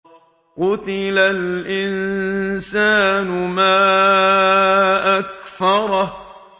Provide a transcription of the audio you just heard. قُتِلَ الْإِنسَانُ مَا أَكْفَرَهُ